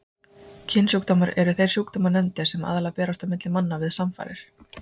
Kynsjúkdómar eru þeir sjúkdómar nefndir sem aðallega berast á milli manna við samfarir.